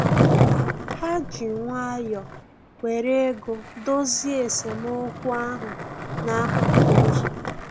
Ha ji nwayọ were ego dozie esemokwu ahụ n'akụkụ ụzọ